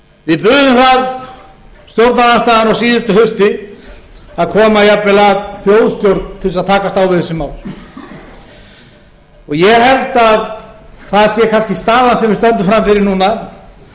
við buðum það stjórnarandstaðan á síðasta hausti að koma jafnvel að þjóðstjórn til þess að takast á við þessi mál og ég held að það sé kannski staðan sem við stöndum frammi fyrir